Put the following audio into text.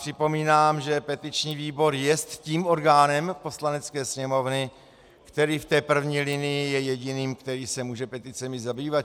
Připomínám, že petiční výbor jest tím orgánem Poslanecké sněmovny, který v té první linii je jediným, který se může peticemi zabývat.